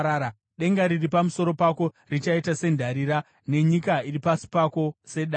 Denga riri pamusoro pako richaita sendarira, nenyika iri pasi pako sedare.